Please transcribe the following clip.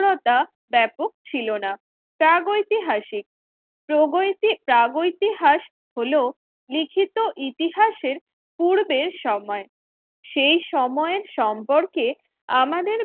রতা ব্যাপক ছিল না প্রাগৌতিক প্রাগৈতিহাস হল লিখিত ইতিহাসের পূর্বের সময়, সেই সময়ের সম্পর্কে আমাদের